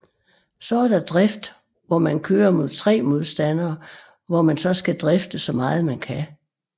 Så er der Drift hvor man køre mod 3 modstandere hvor man så skal drifte så meget man kan